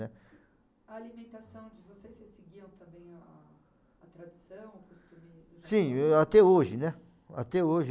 né. A alimentação que vocês se seguiam também a a tradição, o costume... Sim, eu até hoje, né, até hoje.